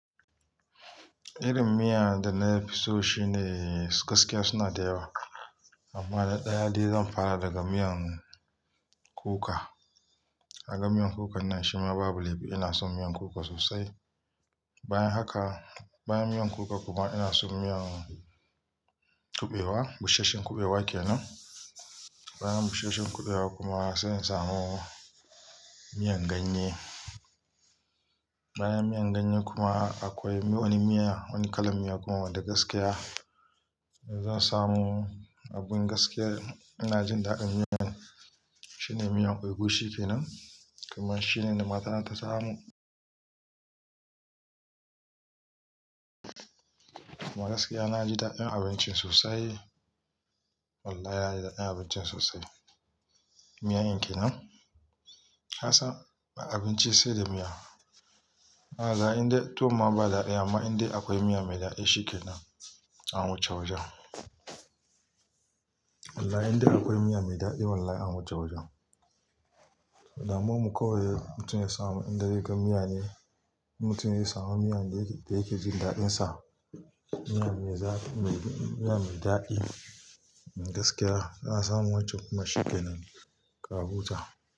Irin miya da na fi so shine gaskiya suna da yawa. Amma na ɗaya dai zan fara daga miyan kuka. Aga miyan kuka nan shima babu laifi ina son miyan kuka sosai. Bayan haka, bayan miyan kuka kuma ina son miyan kuɓewa, busasshen kuɓewa kenan. Bayan busasshen kuɓewa kuma zan samu miyan ganye. Bayan miyan ganye kuma akwai wani miya, wani kalan miya kuma wanda gaskiya zan samu abin gaskiya ina jin daɗin miyan, shine miyan ogushi kenan. Kuma shine da matata ta samo. Amma gaskiya na ji daɗin abincin sosai. Wallahi na yi daɗin abincin sosai. Miyar in kenan. Kassan abinci sai da miya. A zaa in dai toh ma ba daɗi amma in dai akwai miya mai daɗi shi kenan an wuce-waje. Wallahi in dai akwai miya mai daɗi wallahi an wuce-wajen. Da mu mu kawai mutum ya samu inda ya ga miya ne, mutum ya samu miyan da yake jin daɗinsa, miya mai daɗi gaskiya za a samu waccan kuma shi kenan kawu ta.